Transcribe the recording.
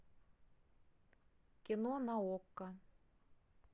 кино на окко